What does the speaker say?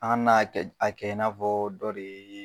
A kana n'a kɛ i b'afɔ dɔ de ye